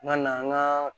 N ka na an ka